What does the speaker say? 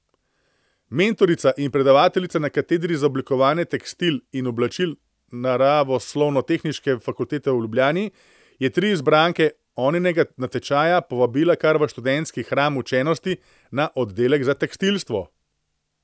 Mentorica in predavateljica na katedri za oblikovanje tekstilij in oblačil naravoslovnotehniške fakultete v Ljubljani je tri izbranke Oninega natečaja povabila kar v študentski hram učenosti, na oddelek za tekstilstvo.